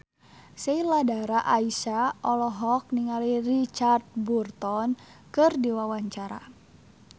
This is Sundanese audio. Sheila Dara Aisha olohok ningali Richard Burton keur diwawancara